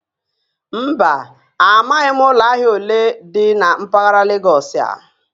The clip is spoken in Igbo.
Mba, amaghim ulo ahia ole di na mpaghara Legọsị a